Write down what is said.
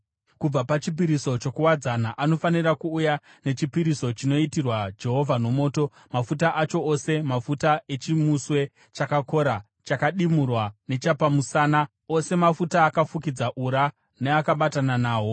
Kubva pachipiriso chokuwadzana anofanira kuuya nechipiriso chinoitirwa Jehovha nomoto, mafuta acho, ose mafuta echimuswe chakakora chakadimurwa, nechapamusana, ose mafuta akafukidza ura neakabatana nahwo,